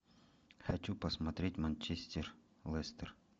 хочу посмотреть манчестер лестер